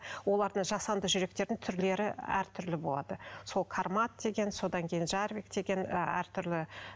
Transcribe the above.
олардың жасанды жүректердің түрлері әр түрлі болады сол кармат деген содан кейін жарбик деген ы әртүрлі